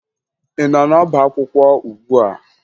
Ị nọ n'ọbaakwụkwọ ugbua?